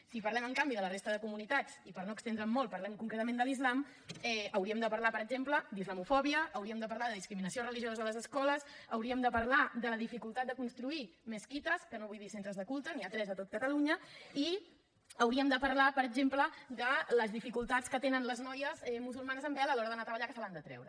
si parlem en canvi de la resta de comunitats i per no estendre’m molt parlem concretament de l’islam hauríem de parlar per exemple d’islamofòbia hauríem de parlar de discriminació religiosa a les escoles hauríem de parlar de la dificultat de construir mesquites que no vull dir centres de culte n’hi ha tres a tot catalunya i hauríem de parlar per exemple de les dificultats que tenen les noies musulmanes amb vel a l’hora d’anar a treballar que se l’han de treure